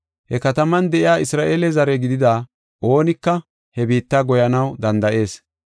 He kataman de7iya Isra7eele zare gidida oonika he biitta goyanaw danda7ees.